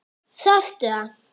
Sástu það?